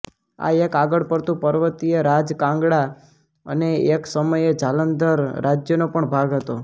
આ એક આગળ પડતું પર્વતીય રાજ કાંગડા અને એક સમયે જાલંધર રાજ્યનો પણ ભાગ હતો